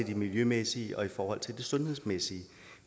miljømæssigt og sundhedsmæssigt